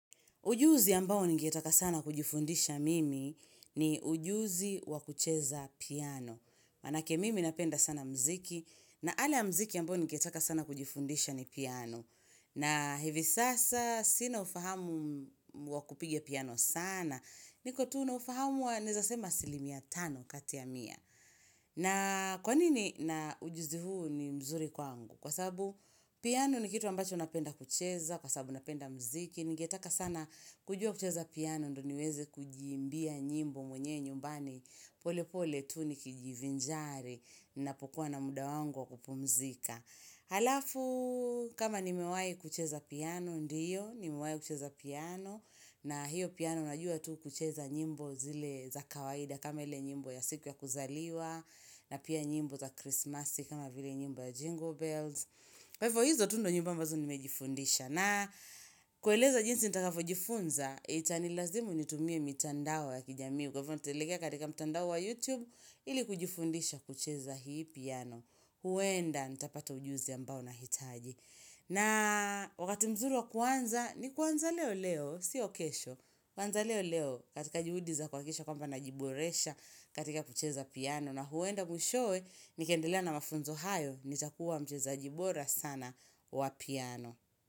Ujuzi ambao ningetaka sana kujifundisha mimi ni ujuzi wa kucheza piano. Manake mimi napenda sana mziki na ana ya mziki ambao ningetaka sana kujifundisha ni piano. Na hivi sasa sina ufahamu wa kupiga piano saana. Niko tu na ufahamu wa naeza sema asilimia tano kati ya mia. Na kwanini na ujuzi huu ni mzuri kwangu? Kwa sababu piano ni kitu ambacho napenda kucheza. Kwa sababu napenda mziki. Ningetaka sana kujua kucheza piano ndio niweze kujiimbia nyimbo mwenye nyumbani pole pole tu nikijivinjari napokuwa na muda wangu kupumzika halafu kama nimewahi kucheza piano ndiyo, nimehi kucheza piano na hiyo piano najua tu kucheza nyimbo zile za kawaida kama ile nyimbo ya siku ya kuzaliwa na pia nyimbo za krismasi kama vile nyimbo ya jingle bells kwa hivo hizo tu ndio nyimbo ambazo nimejifundisha na kueleza jinsi nitakavyo jifunza, itanilazimu nitumie mitandao ya kijamii Kwa hivyo nitelekea katika mitandao wa YouTube ili kujifundisha kucheza hii piano huenda nitapata ujuzi ambao nahitaji na wakati mzuri wa kuanza, ni kuanza leo leo, siyo kesho kuanza leo leo katika juhudi za kuhakisha kwamba najiboresha katika kucheza piano na huenda mwishowe, nikaendelea na mafunzo hayo, nitakuwa mchezaji bora sana wa piano.